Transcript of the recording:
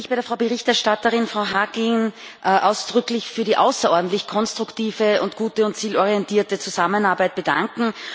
Auch ich möchte mich bei der Berichterstatterin Frau Harkin ausdrücklich für die außerordentlich konstruktive, gute und zielorientierte Zusammenarbeit bedanken.